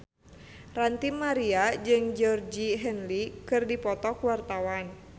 Ranty Maria jeung Georgie Henley keur dipoto ku wartawan